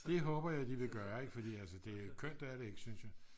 det håber jeg de vil gøre ik fordi kønt er det ikke synes jeg